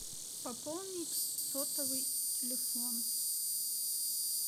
пополнить сотовый телефон